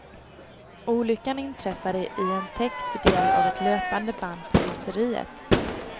Olyckan inträffade i en täckt del av ett löpande band på gjuteriet.